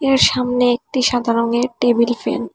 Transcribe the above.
এর সামনে একটি সাদা রঙের একটি টেবিল ফ্যান ।